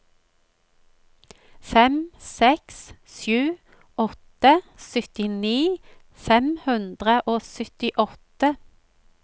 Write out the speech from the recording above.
fem seks sju åtte syttini fem hundre og syttiåtte